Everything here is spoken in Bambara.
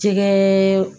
Jɛgɛ